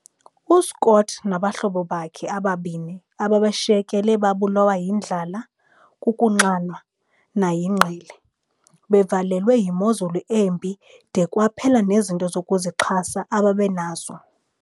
U-Scott nabahlobo bakhe ababini ababeshiyekile babulawa yindlala, kukunxanwa, nayingqele. - bevalelwe yimozulu embi de kwaphela nezinto zokuzixhasa ababenazo.